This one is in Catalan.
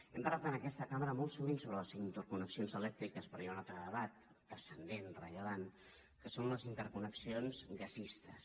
hem parlat en aquesta cambra molt sovint sobre les interconnexions elèctriques però hi ha un altre debat transcendent rellevant que són les interconnexions gasistes